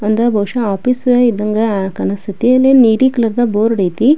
ಒಂದ ಬಹುಶ ಆಫೀಸ್ ಇದ್ದಂಗೆ ಕಾಣ್ಸಕತತೆ ಅಲ್ಲಿ ನೀಲಿ ಕಲರ್ ಬೋರ್ಡ್ ಐತೆ.